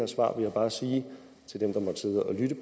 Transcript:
svar her bare sige til dem der måtte sidde og lytte